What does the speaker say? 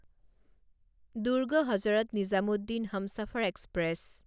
Durg Hazrat Nizamuddin Humsafar express